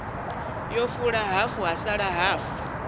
fula hafu ha sala hafu